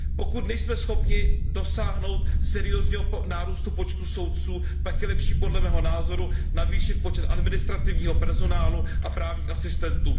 Pokud nejsme schopni dosáhnout seriózního nárůstu počtu soudců, pak je lepší, podle mého názoru, navýšit počet administrativního personálu a právních asistentů.